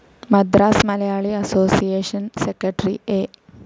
Madras Malayali association secretary A.